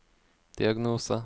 diagnose